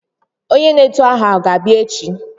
Onyé n'etù aha a ga-abia echi?